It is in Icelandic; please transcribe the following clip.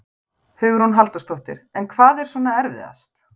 Hugrún Halldórsdóttir: En hvað er svona erfiðast?